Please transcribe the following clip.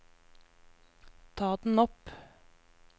ta den opp